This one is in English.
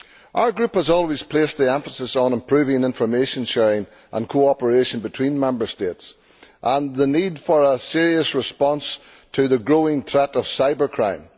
Our group has always placed the emphasis on improving information sharing and cooperation between Member States and on the need for a serious response to the growing threat of cybercrime.